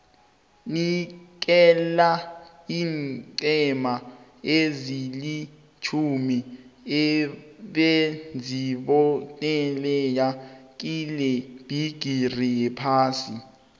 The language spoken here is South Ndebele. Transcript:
nikela iinqhema ezilitjhumi ebezizibandakanye kilebhigiri yephasi